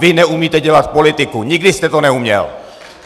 Vy neumíte dělat politiku, nikdy jste to neuměl!